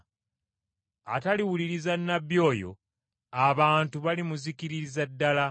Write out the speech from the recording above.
Ataliwuliriza nnabbi oyo abantu balimuzikiririza ddala.’